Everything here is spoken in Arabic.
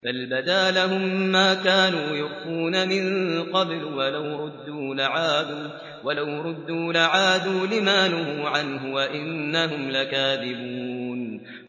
بَلْ بَدَا لَهُم مَّا كَانُوا يُخْفُونَ مِن قَبْلُ ۖ وَلَوْ رُدُّوا لَعَادُوا لِمَا نُهُوا عَنْهُ وَإِنَّهُمْ لَكَاذِبُونَ